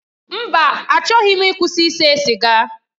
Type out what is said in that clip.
Mba! Achọghị m ịkwụsị ise siga.